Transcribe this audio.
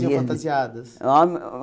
iam fantasiadas?